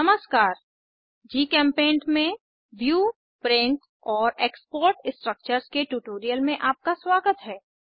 नमस्कार जीचेम्पेंट में view print और एक्सपोर्ट स्ट्रक्चर्स के ट्यूटोरियल में आपका स्वागत है